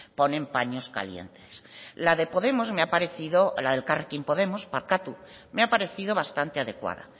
ponen paños calientes la de podemos me ha parecido la de elkarrekin podemos barkatu me ha parecido bastante adecuada